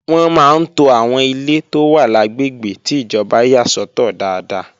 Wọ́n máa ń to àwọn ilé tó wà lágbègbè ti ìjọba yà sọ́tọ̀ dáadáa.